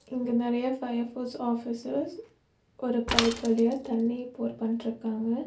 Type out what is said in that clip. இங்க நெறையா fire force officers ஒரு பைப் வழியா தண்ணி போர் பண்ட்ருக்காங்க.